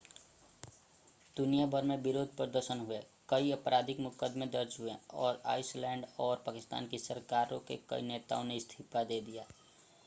दुनिया भर में विरोध प्रदर्शन हुए कई आपराधिक मुकदमे दर्ज हुए और आइसलैंड और पाकिस्तान की सरकारों के कई नेताओं ने इस्तीफा दे दिया